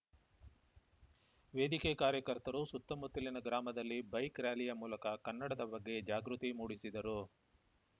ವೇದಿಕೆ ಕಾರ್ಯಕರ್ತರು ಸುತ್ತಮುತ್ತಲಿನ ಗ್ರಾಮದಲ್ಲಿ ಬೈಕ್‌ ರಾರ‍ಯಲಿ ಮೂಲಕ ಕನ್ನಡದ ಬಗ್ಗೆ ಜಾಗೃತಿ ಮೂಡಿಸಿದರು